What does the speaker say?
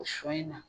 O sɔ in na